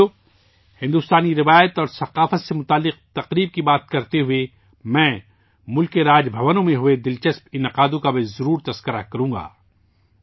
ساتھیو، بھارت کی روایت اور ثقافت سے جڑے تہواروں پر گفتگو کرتے ہوئے، میں ملک کے راج بھونوں میں ہوئی دلچسپ تقریبات کا بھی ضرور ذکر کروں گا